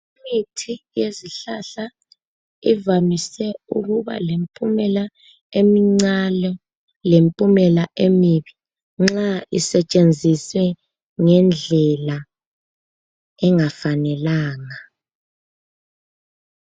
Imithi yezihlahla evamise ukuba lempumela emincane lempumela emibi nxa isetshenziswe ngendlela engafanelanga